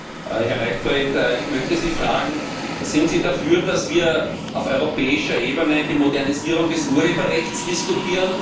Herr Leichtfried, ich möchte Sie fragen Sind Sie dafür, dass wir auf europäischer Ebene die Modernisierung des Urheberrechts diskutieren?